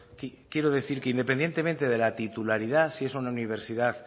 quiero decir que independientemente de la titularidad si es una universidad